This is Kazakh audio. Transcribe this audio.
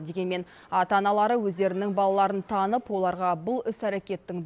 дегенмен ата аналары өздерінің балаларын танып оларға бұл іс әрекеттің